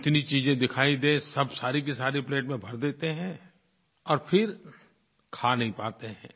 जितनी चीज़ें दिखाई दे सब सारी की सारी प्लेट में भर देते हैं और फिर खा नहीं पाते हैं